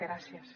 gràcies